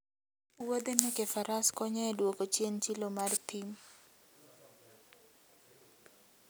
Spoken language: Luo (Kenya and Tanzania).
Wuodhe meke faras konyo e duoko chien chilo mar thim.